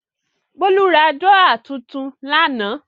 Bólú ra dúrọ́à tuntun lánàá.